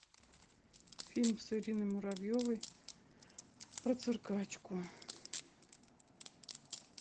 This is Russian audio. фильм с ириной муравьевой про циркачку